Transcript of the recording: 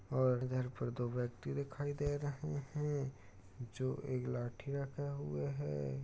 और घर पर दो व्यक्ति दिखाई दे रहे हैं जो एक लाठी रखा हुआ है।